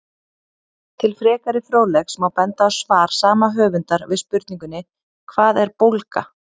Til frekari fróðleiks má benda á svar sama höfundar við spurningunni Hvað er bólga?